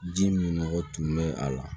Ji min nɔgɔ tun bɛ a la